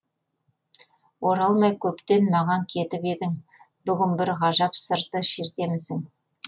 оралмай көптен маған кетіп едің бүгін бір ғажап сырды шертемісің